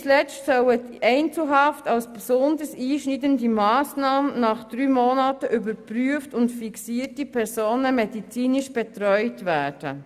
Nicht zuletzt soll die Einzelhaft als besonders einschneidende Massnahme nach drei Monaten überprüft und fixierte Personen medizinisch betreut werden.